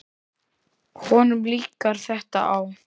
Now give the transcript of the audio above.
Honum líkar þetta þá.